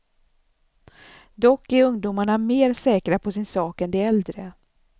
Dock är ungdomarna mer säkra på sin sak än de äldre.